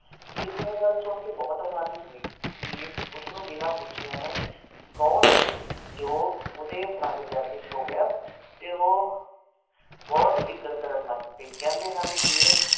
ਹੀਰ ਨੇ ਇਹ ਗੱਲ ਸੁਨ ਕੇ ਬੋਹਤ ਹੈਰਾਨੀ ਹੋਇ, ਕਿ ਉਸ ਨੂੰ ਬਿਨਾ ਪੁੱਛੇ ਐਂਵੇ ਕੌਣ ਏਹੇ ਜੋ ਓਹਦੇ ਪਲੰਘ ਤੇ ਆ ਕੇ ਸੋ ਗਿਆ ਤੇ ਓਹ ਬੋਹਤ ਫਿਕਰ ਕਰਣ ਲਗ ਪਇ ਕਹਿੰਦੇ ਹਨ ਹੀਰ